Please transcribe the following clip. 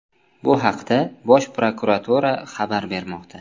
Bu haqda Bosh prokuratura xabar bermoqda .